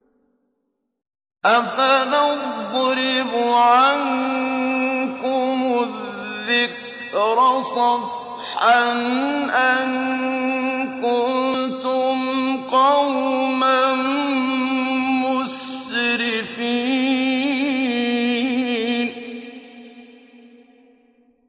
أَفَنَضْرِبُ عَنكُمُ الذِّكْرَ صَفْحًا أَن كُنتُمْ قَوْمًا مُّسْرِفِينَ